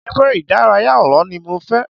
Ère-ìdárayá àlọ́ ni mo fẹ́.